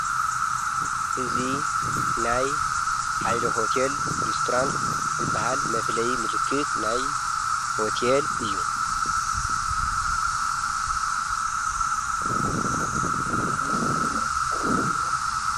እዙ ናይ ኃይለ ሆቴል ሬስቶራንት ዝበሃል መፍለይ ምልክት ናይ ሆቴል እዩ::